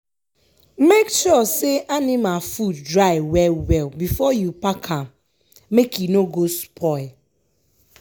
make sure say anima food dry well well before you pack am make e no go spoil.